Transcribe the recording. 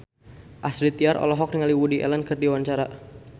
Astrid Tiar olohok ningali Woody Allen keur diwawancara